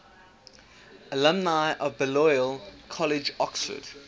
alumni of balliol college oxford